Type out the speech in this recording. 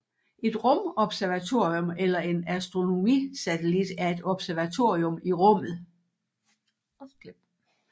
Et rumobservatorium eller en astronomisatellit er et observatorium i rummet